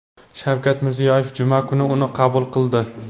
Shavkat Mirziyoyev juma kuni uni qabul qildi .